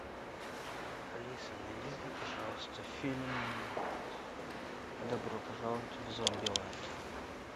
алиса найди мне пожалуйста фильм добро пожаловать в зомбилэнд